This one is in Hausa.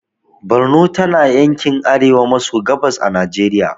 Borno tana yankin arewa maso gabas a najeriya